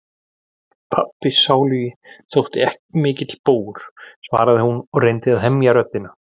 Pabbi sálugi þótti ekki mikill bógur, svaraði hún og reyndi að hemja röddina.